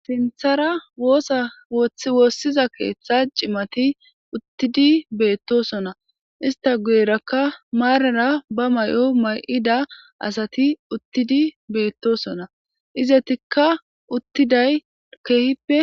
Sinthara woosa wothi woossiza keeththa cimati uttidi beettosona ista guyerakka maarara ba may7o may7ida asati uttidi beettosona izetikka uttiday keehippe.